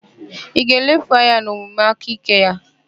Ị ga-elefu anya n'omume aka ike ya?